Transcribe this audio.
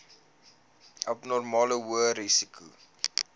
abnormale hoë risiko